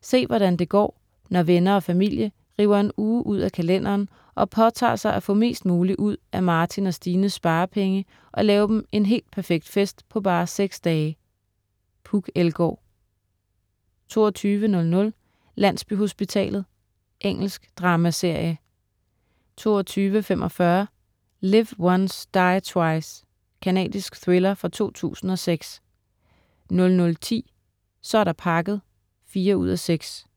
Se, hvordan det går, når venner og familie river en uge ud af kalenderen og påtager sig at få mest muligt ud af Martin og Stines sparepenge og lave dem en helt perfekt fest på bare seks dage. Puk Elgaard 22.00 Landsbyhospitalet. Engelsk dramaserie 22.45 Live Once Die Twice. Canadisk thriller fra 2006 00.10 Så er der pakket 4:6*